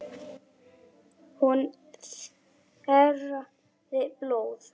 Hún þerraði blóð.